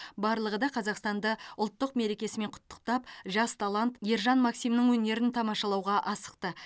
барлығы да қазақстанды ұлттық мерекесімен құттықтап жас талант ержан максимнің өнерін тамашалауға асықты